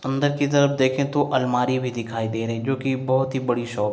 अंदर के तरफ देखे तो अलमारी भी दिखाई दे रही हैं जोकि बोहोत बड़ी शॉप --